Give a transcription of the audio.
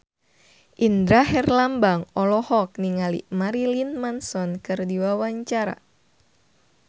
Indra Herlambang olohok ningali Marilyn Manson keur diwawancara